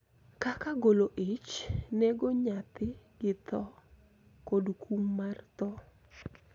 Kaka golo ich, nego nyathi gi tho, kod kum mar tho.